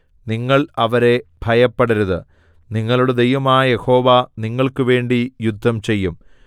നിങ്ങൾ അവരെ ഭയപ്പെടരുത് നിങ്ങളുടെ ദൈവമായ യഹോവ നിങ്ങൾക്കുവേണ്ടി യുദ്ധം ചെയ്യും